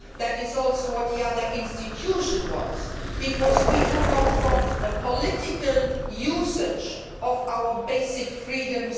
That is also what the other institution wants, because we do not want political usage of our basic freedoms.